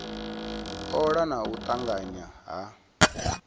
ola na u tanganya ha